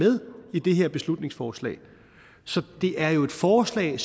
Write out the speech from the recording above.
i det her beslutningsforslag så det er jo et forslag